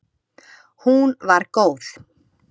Hún var góð.